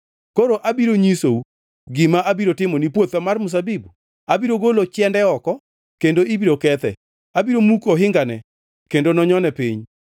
Koro abiro nyisou gima abiro timo ne puotha mar mzabibu: Abiro golo chiende oko, kendo ibiro kethe, abiro muko ohingane kendo nonyone piny.